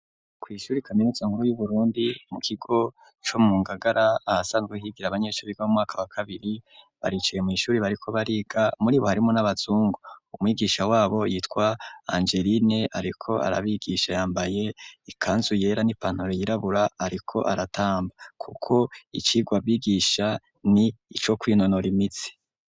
Kw'ishure kaminuza nkuru y'uburundi mu kigo co mu ngagara ahasanzwe higira abanyeshuri go mu mwaka wa kabiri baricaye mu ishuri bariko bariga muri bo harimo n'abazungu umwigisha wabo yitwa angeline ariko arabigisha yambaye ikanzu yera n'ipantaro yirabura ariko aratamba kuko icigwa bigisha ni ico kwinonora imitsi.